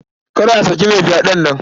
Kada a saki mai fyaɗen nan.